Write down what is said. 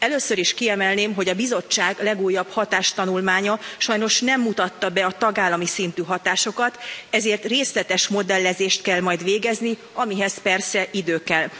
Először is kiemelném, hogy a Bizottság legújabb hatástanulmánya sajnos nem mutatta be a tagállami szintű hatásokat, ezért részletes modellezést kell majd végezni, amihez persze idő kell.